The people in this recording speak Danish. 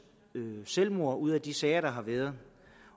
selvmord ud af de sager der har været